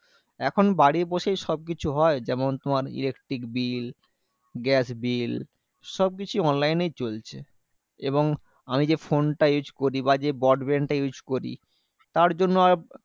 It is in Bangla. এখন বাড়ি বসেই সবকিছু হয়। যেমন তোমার electric bill, gas bill সবকিছু online এই চলছে। এবং আমি যে ফোনটা use করি বা যে broadband টা use করি তার জন্য আর